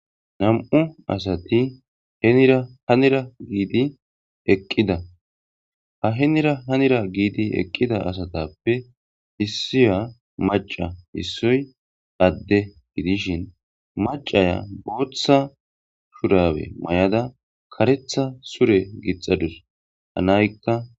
Nam'u asati henira hanira giidi eqqida ha henira hanira giidi eqqida asatappe issiya maca issoy adde gidishin macaya booththa shurawe may'ada karetha sure gixadus hanaykka.